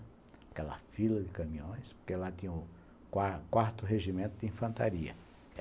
Aquela fila de caminhões, porque lá tinha o quar quarto Regimento de Infantaria.